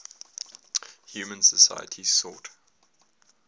human societies sought